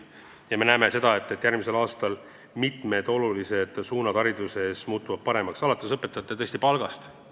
Ja me näeme seda, et järgmisel aastal muutuvad hariduses asjad mitmes olulises suunas paremaks, alates õpetajate kõrgemast palgast.